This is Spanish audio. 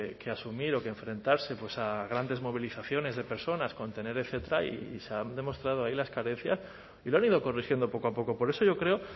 que asumir o que enfrentarse a grandes movilizaciones de personas contener etcétera y se han demostrado ahí las carencias y lo han ido corrigiendo poco a poco por eso yo creo